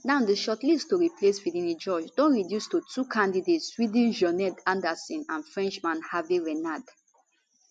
now di shortlist to replace finidi george don reduce to two candidates swede janne andersson and frenchman herve renard